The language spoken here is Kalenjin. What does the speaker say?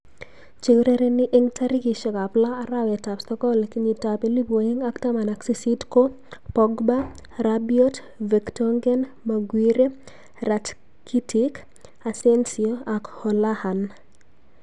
Cheurereni eng tarikishek ab lo arawet ab sokol kenyit ab elipu aeng ak taman ak sisit ko Pogba, Rabiot, vertonghen, Maguire, Ratkitic, Asensio ak Hoolahan.